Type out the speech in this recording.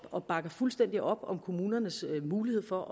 og bakker fuldstændig op om kommunernes mulighed for